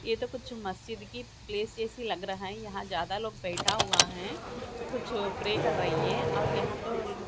ये तो कुछ मस्जिद की प्लेस जैसी लग रहा है यहां ज्यादा लोग बैठा हुआ हैं कुछ प्रे कर रही है और यहां तो--